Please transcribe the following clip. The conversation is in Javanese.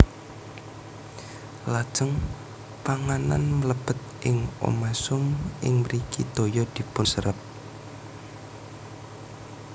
Lajeng panganan mlebet ing omasum ing mriki toya dipunserep